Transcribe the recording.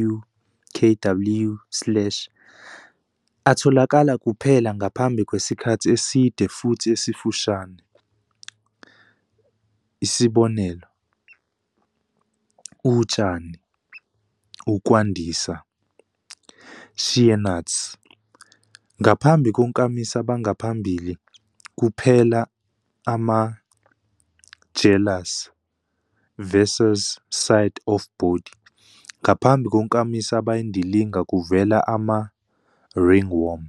w, k w slash atholakala kuphela ngaphambi kwesikhathi eside futhi esifushane, 'utshani', 'ukwandisa', 'shea-nuts'. Ngaphambi konkamisa bangaphambili, kuphela ama-'jealous', 'side of body'. Ngaphambi konkamisa abayindilinga, kuvela ama-'ringworm'.